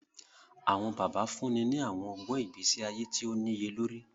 Awọn bàbá fúnni ni awọn ọgbọn ìgbésí ayé tíì o niyelori